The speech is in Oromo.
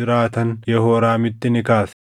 jiraatan Yehooraamitti ni kaase.